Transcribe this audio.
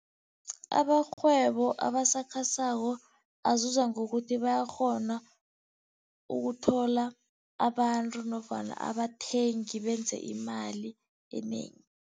Abarhwebo abasakhasako azuza ngokuthi, bayakghona ukuthola abantu nofana abathengi benze imali enengi.